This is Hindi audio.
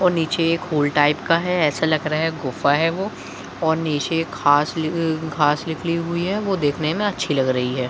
और नीचे एक होल टाइप का है ऐसा लग रहा है गुफा है वो और नीचे एक खास नी घास निकली हुई है वो देखने में अच्छी लग रही है।